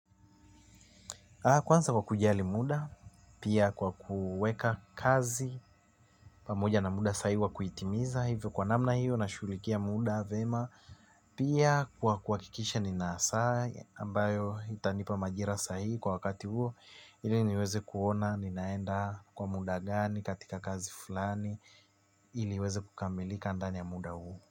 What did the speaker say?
Kwanza kwa kujali muda, pia kwa kuweka kazi, pamoja na muda sahi wa kuitimiza, hivyo kwa namna hiyo nashughulikia muda vema, pia kwa kuhakikisha nina saa, ambayo itanipa majira sahihi kwa wakati huo, ili niweze kuona, ninaenda kwa muda gani, katika kazi fulani, ili iweze kukamilika ndani ya muda huu.